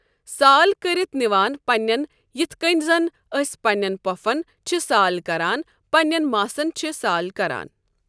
سال کٔرتھ نِوان پَننٮ۪ن یِتھ کٔنۍ زَن أسۍ پَننٮ۪ن پۄفن چھِ سال کَران پَننٮ۪ن ماسن چھِ سال کَران۔